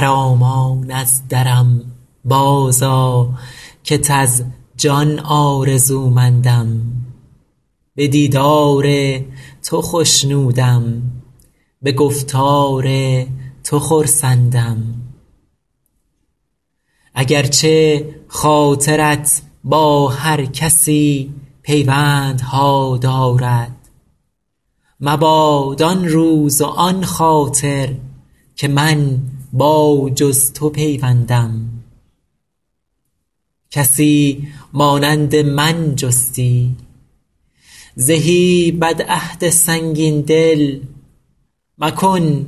خرامان از درم بازآ کت از جان آرزومندم به دیدار تو خوشنودم به گفتار تو خرسندم اگر چه خاطرت با هر کسی پیوندها دارد مباد آن روز و آن خاطر که من با جز تو پیوندم کسی مانند من جستی زهی بدعهد سنگین دل مکن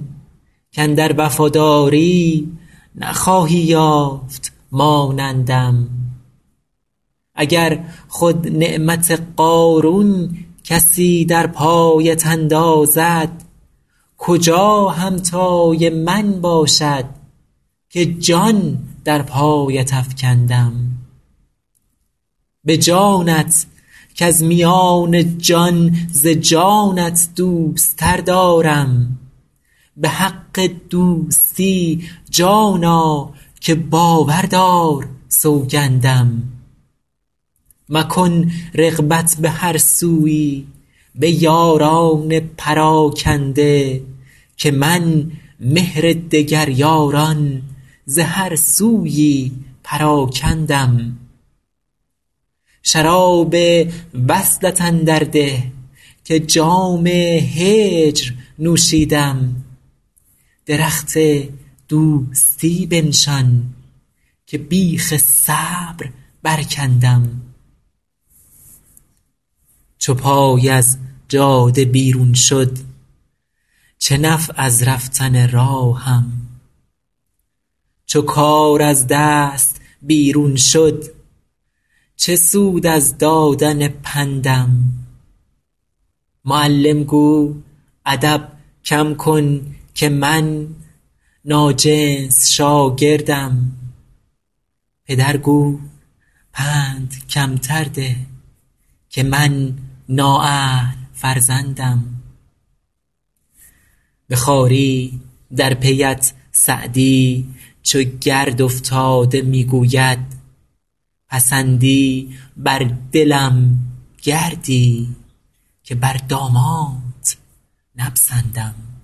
کاندر وفاداری نخواهی یافت مانندم اگر خود نعمت قارون کسی در پایت اندازد کجا همتای من باشد که جان در پایت افکندم به جانت کز میان جان ز جانت دوست تر دارم به حق دوستی جانا که باور دار سوگندم مکن رغبت به هر سویی به یاران پراکنده که من مهر دگر یاران ز هر سویی پراکندم شراب وصلت اندر ده که جام هجر نوشیدم درخت دوستی بنشان که بیخ صبر برکندم چو پای از جاده بیرون شد چه نفع از رفتن راهم چو کار از دست بیرون شد چه سود از دادن پندم معلم گو ادب کم کن که من ناجنس شاگردم پدر گو پند کمتر ده که من نااهل فرزندم به خواری در پی ات سعدی چو گرد افتاده می گوید پسندی بر دلم گردی که بر دامانت نپسندم